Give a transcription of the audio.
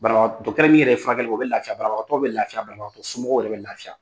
Banabaga ɛ dɔkitɛri min yɛrɛ ye furakɛli kɛ o bɛ lafiya banabagatɔ bɛ lafiya banabagatɔ somɔgɔw yɛrɛ bɛ lafiya